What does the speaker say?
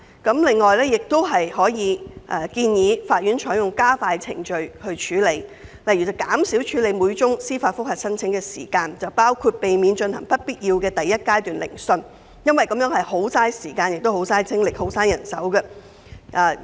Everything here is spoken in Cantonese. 此外，亦可考慮建議法院採用加快程序作出處理，例如減少處理每宗司法覆核申請的時間，包括避免進行不必要的第一階段聆訊，因這是十分浪費時間、精力及人手的做法。